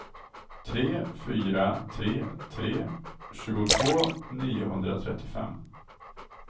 tre fyra tre tre tjugotvå niohundratrettiofem